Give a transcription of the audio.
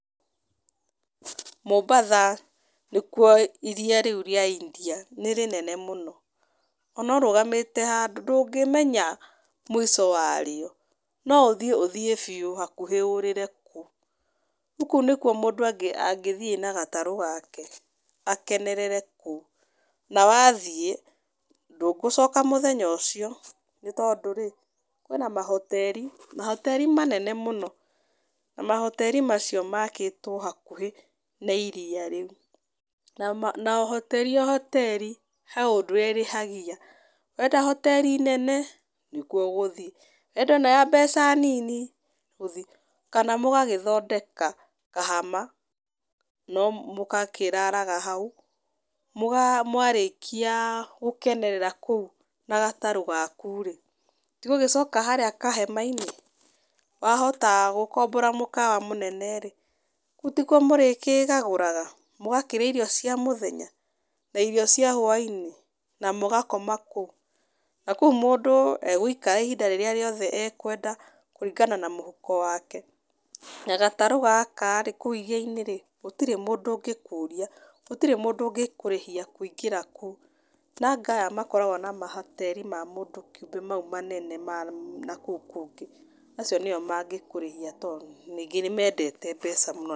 Mombasa, nĩkuo iria rĩu rĩa India nĩ rĩnene mũno. Ona ũrũgamĩte handũ, ndũngĩmenya mũico wa rĩo. No ũthiĩ ũthiĩ biũ hakuhĩ ũrĩre kuo. Kũu nĩkuo mũndũ angĩthiĩ na gatarũ gake, akenerere kũu. Na wathiĩ, ndũgũcoka mũthenya ũcio, nĩ tondũ rĩ kwĩna mahoteri, mahoteri manene mũno. Na mahoteri macio makĩtwo hakuhĩ na iria rĩu. Na na o hoteri o hoteri he ũndũ ũrĩa ĩrĩhagia. Wenda hoteri nene, nĩkuo ũgũthiĩ. Wenda ĩno ya mbeca nini, ũthiĩ kuo. Kana mũgagĩthondeka kahama, no mũgakĩraraga hau, mwarĩkia gũkenerera kũu na gatarũ gaku rĩ, ti gũgĩcoka harĩa kahema-inĩ. Wahota gũkombora mũkawa mũnene rĩ, tikuo mũrĩkĩgagũraga. Mũgakĩrĩa irio cia mũthenya. Na irio cia hwainĩ, na mũgakoma kũu. Na kũu mũndũ egũikara ihinda rĩrĩa rĩothe ekwenda, kũringana na mũhuko wake. Na gatarũ gaka rĩ, kũu iria-inĩ rĩ, gũtirĩ mũndũ ũngĩkũria, gũtirĩ mũndũ ũngĩkũrĩhia kũingĩra kũu. Nanga aya makoragwo na mahoteri ma mũndũ kĩũmbe mau manene ma nakũu kũngĩ acio nĩo mangĩkũrĩhia to ningĩ nĩ mendete mbeca mũno.